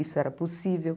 Isso era possível.